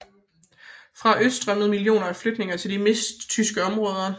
Fra øst strømmede millioner af flygtninge til de midttyske områder